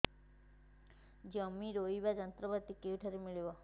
ଜମି ରୋଇବା ଯନ୍ତ୍ରପାତି କେଉଁଠାରୁ ମିଳିବ